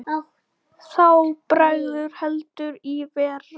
Þá bregður heldur í verra.